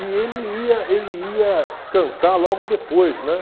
E ele ia ele ia cantar logo depois, né?